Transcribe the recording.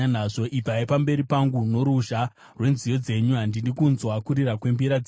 Ibvai pamberi pangu noruzha rwenziyo dzenyu! Handidi kunzwa kurira kwembira dzenyu.